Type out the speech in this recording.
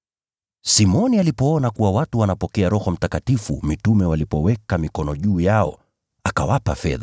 Simoni alipoona kuwa watu wanapokea Roho Mtakatifu mitume walipoweka mikono juu yao, akataka kuwapa fedha